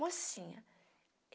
Mocinha.